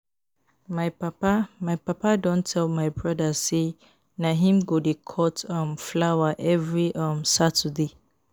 My papa My papa don tell my broda sey na him go dey cut um flower every um Saturday.